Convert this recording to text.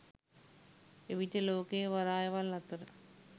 එවිට ලෝකයේ වරායවල් අතර